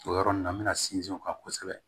O yɔrɔ ninnu na n me na sinsin o kan kosɛbɛ